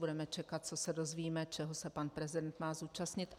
Budeme čekat, co se dozvíme, čeho se pan prezident má zúčastnit.